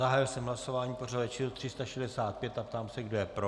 Zahájil jsem hlasování pořadové číslo 365 a ptám se, kdo je pro.